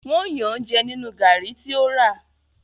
wón Yàn jé nínú garri tí o rà.